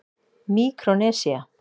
Míkrónesía